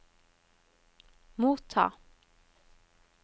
motta